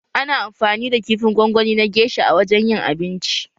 Ana amfani da kifin gwangwani na gesha a wajen yin abincin